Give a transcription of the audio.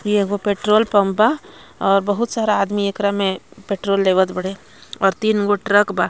ये एगो petrol pump बा और बहुत सारा आदमी एकरा में पेट्रोल लेवत बाड़े और तीन गो ट्रक बा.